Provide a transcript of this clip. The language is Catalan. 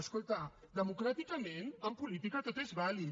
escolta democràticament en política tot és vàlid